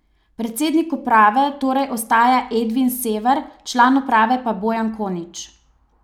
Predsednik uprave torej ostaja Edvin Sever, član uprave pa Bojan Konič.